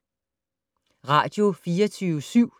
Radio24syv